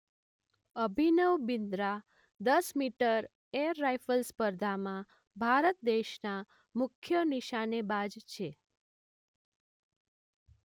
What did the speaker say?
અભિનવ બિંદ્રા દસ metre air rifle સ્પર્ધામાં ભારત દેશના મુખ્ય નિશાનેબાજ છે.